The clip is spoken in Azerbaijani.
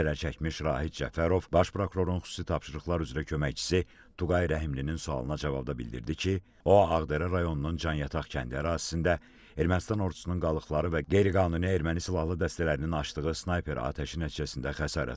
Zərər çəkmiş Rahid Cəfərov Baş Prokurorun xüsusi tapşırıqlar üzrə köməkçisi Tuqay Rəhimlinin sualına cavabda bildirdi ki, o Ağdərə rayonunun Canyataq kəndi ərazisində Ermənistan ordusunun qalıqları və qeyri-qanuni erməni silahlı dəstələrinin açdığı snayper atəşi nəticəsində xəsarət alıb.